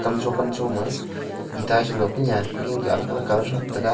kam cho kam cho ma eeta chu lo ku niam ku ningku alag alag colour shot taiga.